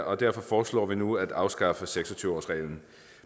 og derfor foreslår vi nu at afskaffe seks og tyve årsreglen